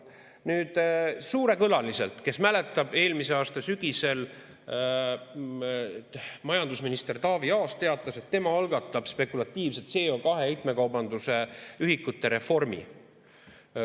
Nüüd, kes mäletab, eelmise aasta sügisel majandusminister Taavi Aas teatas suurekõlaliselt, et tema algatab spekulatiivse CO2 heitmekaubanduse ühikute reformi.